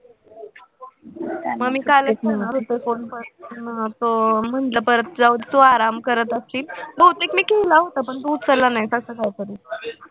मग काल मी करणार होते phone पण अं म्हंटल परत जाऊ दे तू आराम करत असशील बहुतेक मी केला होता पण तू उचलला नाहीस असं काही तरी